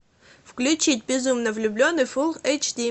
включить безумно влюбленный фулл эйч ди